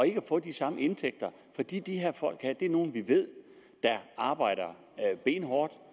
ikke at få de samme indtægter fordi de her folk er nogle vi ved arbejder benhårdt